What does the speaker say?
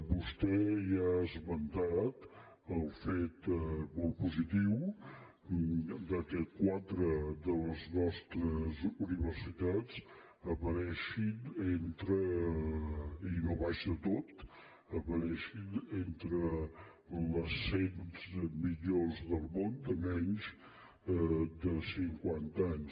vostè ja ha esmentat el fet molt positiu que quatre de les nostres universitats apareguin i no a baix de tot entre les cent millors del món de menys de cinquanta anys